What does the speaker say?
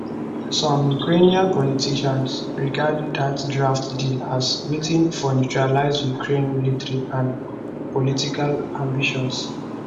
some ukrainian politicians regard dat draft deal as wetin for neutralise ukraine military and political ambitions